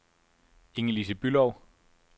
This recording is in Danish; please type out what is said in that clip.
Inge-Lise Bülow